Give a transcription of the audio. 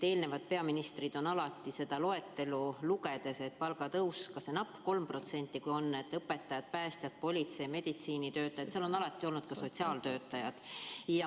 Eelmised peaministrid on alati seda palgatõusu saajate loetelu lugedes, ka selle napi 3% korral, lisaks õpetajatele, päästjatele, politseinikele ja meditsiinitöötajatele nimetanud ka sotsiaaltöötajaid.